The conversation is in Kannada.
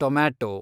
ಟೊಮ್ಯಾಟೋ